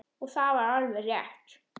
Og það var alveg rétt.